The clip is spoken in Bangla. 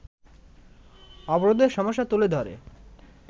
অবরোধের সমস্যা তুলে ধরে